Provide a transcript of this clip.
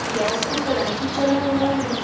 Gas पे कढ़ाई ही चढ़ा हुआ है।